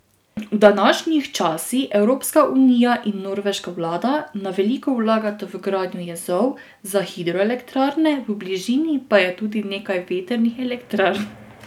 V današnjih časi Evropska unija in norveška vlada na veliko vlagata v gradnjo jezov za hidroelektrarne, v bližini pa je tudi nekaj vetrnih elektrarn.